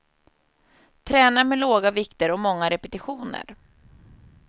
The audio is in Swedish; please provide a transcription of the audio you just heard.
Tränar med låga vikter och många repetitioner.